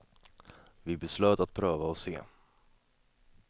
Vi beslöt att pröva och se.